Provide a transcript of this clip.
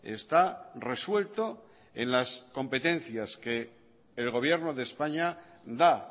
está resuelto en las competencias que el gobierno de españa da